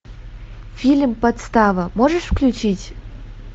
фильм подстава можешь включить